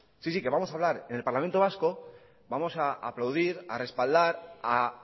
sí sí que vamos a hablar en el parlamento vasco vamos a aplaudir a respaldar a